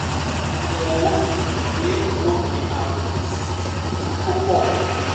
àyẹ̀wò fi hàn pé ó ní ààrùn cystic tó pọ̀